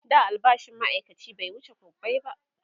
da albashin maaikaci bai wuce kwabbai ba